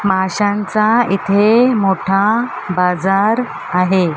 माशांचा इथे मोठा बाजार आहे.